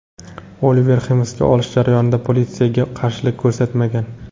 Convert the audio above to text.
Oliver hibsga olish jarayonida politsiyaga qarshilik ko‘rsatmagan.